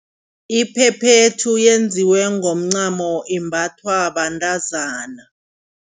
Iphephethu yenziwe ngomncamo imbathwa bantazana.